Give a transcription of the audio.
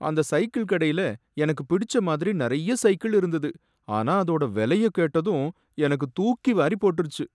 அந்த சைக்கிள் கடையில எனக்கு பிடிச்ச மாதிரி நறைய சைக்கிள் இருந்தது, ஆனா அதோட வெலைய கேட்டதும் எனக்கு தூக்கி வாரிப் போட்டிருச்சு